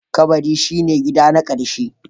Kabari shi ne gida na ƙarshe.